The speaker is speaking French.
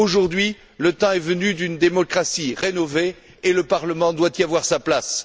Aujourd'hui, le temps est venu d'une démocratie rénovée et le Parlement doit y avoir sa place.